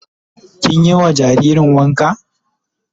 Kin yi ma jaririn wanka?